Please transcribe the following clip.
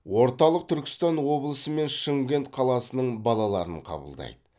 орталық түркістан облысы мен шымкент қаласының балаларын қабылдайды